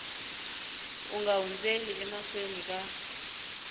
u nga hundzeli emahlweni ka